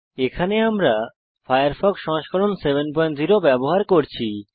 এখানে আমরা উবুন্টু 1004 এ ফায়ারফক্স সংস্করণ 70 ব্যবহার করছি